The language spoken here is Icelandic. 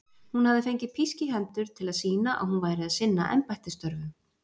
Hún hafði fengið písk í hendur til að sýna að hún væri að sinna embættisstörfum.